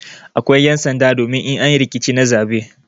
Akwai ƴan'sanda domin in an yi rikici na zaɓe.